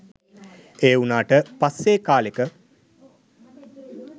ඒ වුණාට පස්සේ කාලෙක